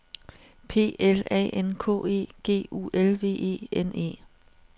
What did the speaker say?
P L A N K E G U L V E N E